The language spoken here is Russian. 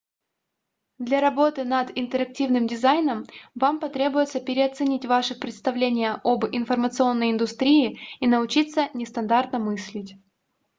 для работы над интерактивным дизайном вам потребуется переоценить ваши представления об информационной индустрии и научиться нестандартно мыслить